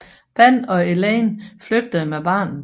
Ban og Elaine flygtede med barnet